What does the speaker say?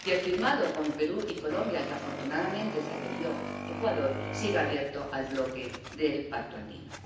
y el firmado con Perú y Colombia, al que afortunadamente se adhirió Ecuador, sigue abierto al bloque del Pacto Andino.